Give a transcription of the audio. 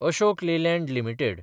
Ashok Leyland limited